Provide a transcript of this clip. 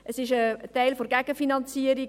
Dies ist ein Teil der Gegenfinanzierung.